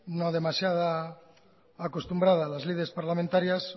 no demasiado acostumbrada a las lides parlamentarias